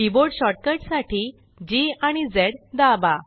keyboard shortcut साठी Gआणि Zदाबा